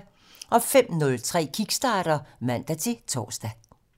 05:03: Kickstarter (man-tor)